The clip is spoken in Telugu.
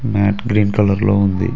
మ్యాట్ గ్రీన్ కలర్ లో ఉంది.